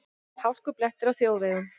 Hálkublettir á þjóðvegum